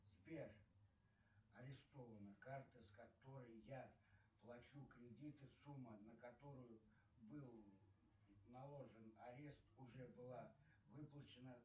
сбер арестована карта с которой я плачу кредит и сумма на которую был наложен арест уже была выплачена